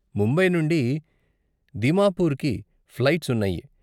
ముంబై నుండి దిమాపుర్కి ఫ్లైట్స్ ఉన్నాయి.